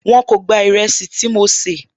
Wọn kò gba ìrẹsì tí mo sè